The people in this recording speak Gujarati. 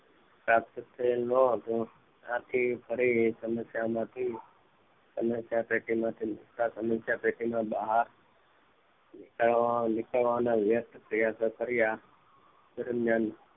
આથી તેનો ન હતું આથી તેનું ફરી સમસ્યા પેટી માં મુક્ત સમસ્યા પેટીના બહાર નીકળ નીકળવાના વ્યર્થ પ્રયત્નો કર્યા તે દરમિયાન